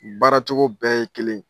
baaracogo bɛɛ ye kelen